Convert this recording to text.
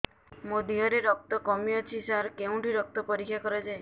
ମୋ ଦିହରେ ରକ୍ତ କମି ଅଛି ସାର କେଉଁଠି ରକ୍ତ ପରୀକ୍ଷା କରାଯାଏ